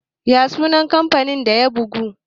ya sunan kamfanin da ya buga?